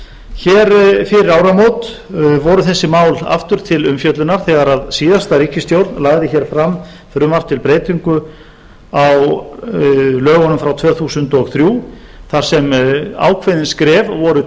hér fyrir áramót voru þessi mál aftur til umfjöllunar þegar síðasta ríkisstjórn lagði hér fram frumvarp til breytingu á lögunum frá tvö þúsund og þrjú þar sem ákveðin skref voru